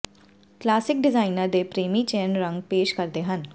classic designer ਦੇ ਪ੍ਰੇਮੀ ਚੈਨ ਰੰਗ ਪੇਸ਼ ਕਰਦੇ ਹਨ